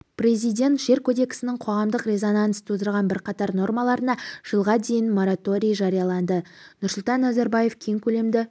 президент жер кодексінің қоғамдық резонанс тудырған бірқатар нормаларына жылға дейін мораторий жариялады нұрсұлтан назарбаев кең көлемді